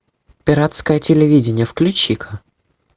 пиратское телевидение включи ка